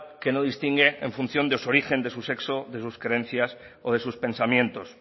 que no distingue en función de su origen de su sexo de sus creencias o de sus pensamientos